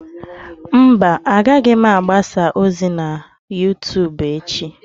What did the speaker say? Mba, agaghị m agbasa ozi na YouTubu echi.